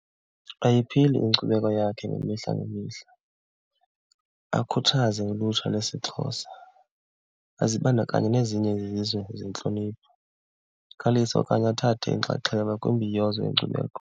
Ayiphili inkcubeko yakhe ngemihla ngemihla, akhuthaze ulutsha lesiXhosa, azibandakanye nezinye izizwe zentlonipho, akhalise okanye athathe inxaxheba kwimbiyozo yenkcubeko.